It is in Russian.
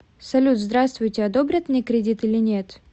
салют здравствуйте одобрят мне кредит или нет